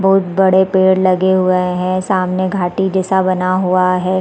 बहुत बड़े पेड़ लगे हुए है सामने घाटी जैसा बना हुआ है।